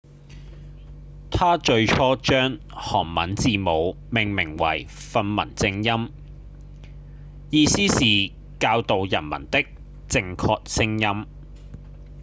他最初將韓文字母命名為「訓民正音」意思是「教導人民的正確聲音」